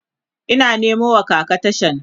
Ina Nemo wa kaka tashan